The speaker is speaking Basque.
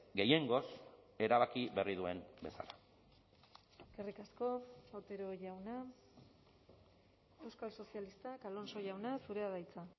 gehiengoz erabaki berri duen bezala eskerrik asko otero jauna euskal sozialistak alonso jauna zurea da hitza